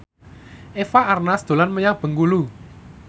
Eva Arnaz dolan menyang Bengkulu